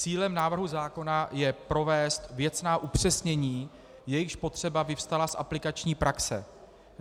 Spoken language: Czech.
Cílem návrhu zákona je provést věcná upřesnění, jejichž potřeba vyvstala z aplikační praxe.